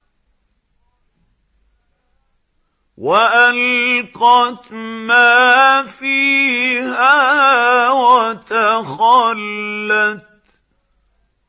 وَأَلْقَتْ مَا فِيهَا وَتَخَلَّتْ